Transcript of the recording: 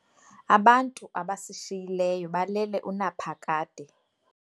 Abantu abasishiyileyo balele unaphakade.